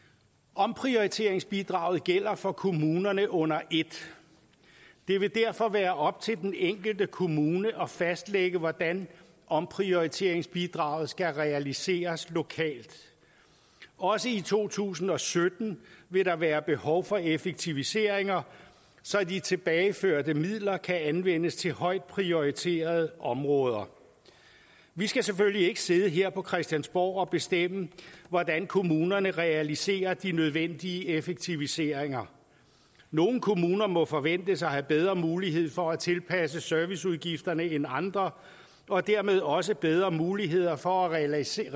omprioriteringsbidraget gælder for kommunerne under et det vil derfor være op til den enkelte kommune at fastlægge hvordan omprioriteringsbidraget skal realiseres lokalt også i to tusind og sytten vil der være behov for effektiviseringer så de tilbageførte midler kan anvendes til højt prioriterede områder vi skal selvfølgelig ikke sidde her på christiansborg og bestemme hvordan kommunerne realiserer de nødvendige effektiviseringer nogle kommuner må forventes at have bedre mulighed for at tilpasse serviceudgifterne end andre og dermed også bedre muligheder for at realisere